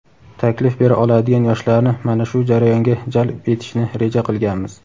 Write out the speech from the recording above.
taklif bera oladigan yoshlarni mana shu jarayonga jalb etishni reja qilganmiz.